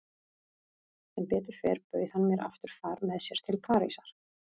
Sem betur fer bauð hann mér aftur far með sér til Parísar.